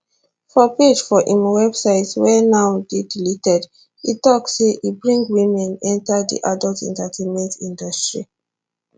for page for im website wey now dey deleted e tok say e bring women enta di adult entertainment industry